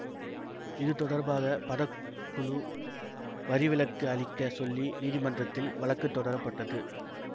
இது தொடர்பாக படக்குழு வரிவிலக்கு அளிக்க சொல்லி நீதிமன்றத்தில் வழக்கு தொடரப்பட்டது